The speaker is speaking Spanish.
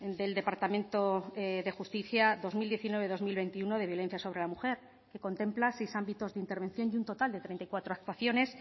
del departamento de justicia dos mil diecinueve dos mil veintiuno de violencia sobre la mujer que contempla seis ámbitos de intervención y un total de treinta y cuatro actuaciones